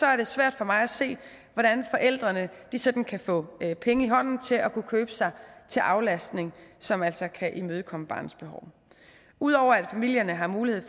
er det svært for mig at se hvordan forældrene sådan kan få penge i hånden til at kunne købe sig til aflastning som altså kan imødekomme barnets behov ud over at familierne har mulighed